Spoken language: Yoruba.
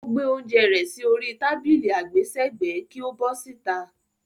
Ó gbé oúnjẹ rẹ̀ sí orí tábìlì àgbésẹ̀gbẹ́ kí ó bọ́ síta.